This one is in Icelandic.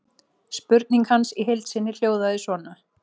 Spurning hans í heild sinni hljóðaði svona: